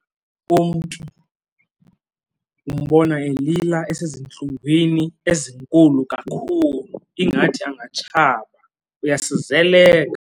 Umntu umbona elila esezintlungwini ezinkulu kakhulu, ingathi angatshaba. Uyasizeleka.